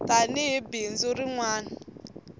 tani hi bindzu rin wana